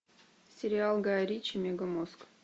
сериал гая ричи мега мозг